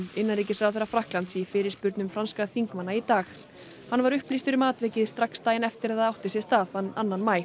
innanríkisráðherra Frakklands í fyrirspurnum franskra þingmanna í dag hann var upplýstur um atvikið strax daginn eftir að það átti sér stað þann annan maí